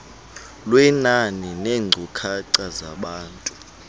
lwenani neenkcukacha zabantu